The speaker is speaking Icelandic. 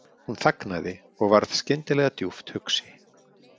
Hún þagnaði og varð skyndilega djúpt hugsi.